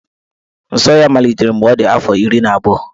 Nsọ ya malitere mgbe ọ dị afọ iri na abụọ.